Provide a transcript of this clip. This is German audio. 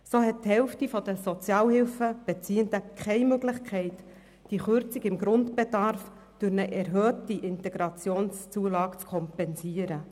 So hat die Hälfte der Sozialhilfebeziehenden keine Möglichkeit, die Kürzungen beim Grundbedarf durch eine erhöhte IZU zu kompensieren.